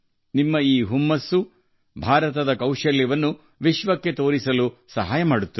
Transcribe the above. ನಿಮ್ಮ ಈ ಆವೇಗವು ಭಾರತದ ಮಾಂತ್ರಿಕತೆಯನ್ನು ಜಗತ್ತಿಗೆ ತೋರಿಸಲು ಸಹಾಯ ಮಾಡುತ್ತದೆ